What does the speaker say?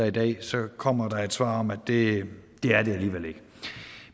i dag så kommer der et svar om at det er det alligevel ikke